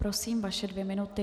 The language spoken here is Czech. Prosím, vaše dvě minuty.